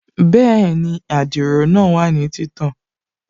Bẹ́ẹ̀ni, adiro náà wà ní títàn